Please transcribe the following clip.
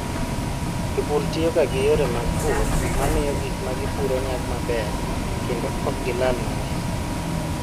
Jopur tiyoga gi yore mag pur ma miyo gik ma gipuro nyago maber kendo ok gilal gik mang'eny.